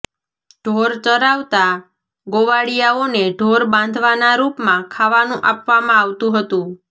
ઢોર ચરાવતા ગોવાળીયાઓને ઢોર બાંધવાના રૃપમાં ખાવાનું આપવામાં આવતુ હતું